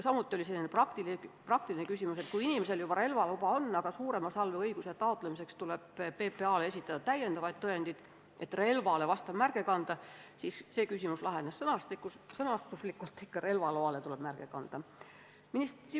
Samuti oli kõne all praktiline küsimus, et kui inimesel juba on relvaluba, aga suurema salve omamise õiguse taotlemiseks tuleb PPA-le esitada lisatõendid, et vastav märge relvale kanda, siis see küsimus lahenes sõnastuslikult – märge tuleb kanda ikka relvaloale.